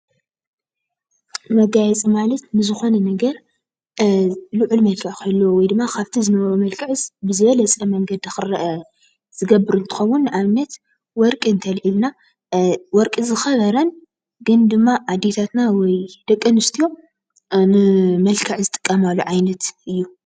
መጋየፂ ማለት ንዝኾነ ነገር ልዑል መልክዕ ክህልዎ ወይድማ ካብቲ ዝነበሮ መልክዕስ ብዝበለፀ መንገዲ ክርአ ዝገብር እንትኸውን ንኣብነት ወርቂ እንተልዒልና ወርቂ ዝኸበረን ግን ድማ ኣዴታትና ወይ ደቂ ኣንስትዮ ንመልክዕ ዝጥቀማሉ ዓይነት እዩ፡፡